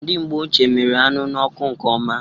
Ndị mgbe ochie miri anụ n'ọkụ nke ọma.